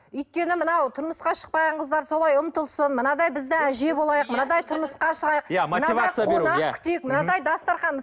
өйткені мынау тұрмысқа шықпаған қыздар солай ұмтылсын мынадай біз де әже болайық мынадай тұрмысқа шығайық мынадай қонақ күтейік мынадай дастархан